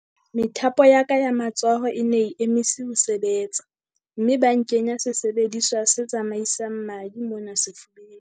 "Methapo ya ka ya matsoho e ne e emise ho sebetsa mme ba nkenya sesebediswa se tsamaisang madi mona sefubeng."